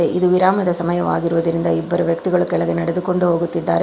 ಇದು ವಿರಾಮದ ಸಮಯವಾಗಿರುವುದರಿಂದ ಇಬ್ಬರು ವ್ಯಕ್ತಿಗಳು ಕೆಳಗೆ ನಡೆದುಕೊಂಡು ಹೋಗುತ್ತಿದ್ದಾರೆ.